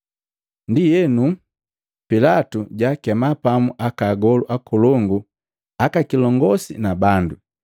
Ndienu, Pilatu jaakema pamu aka agolu akolongu, aka kilongosi na bandu,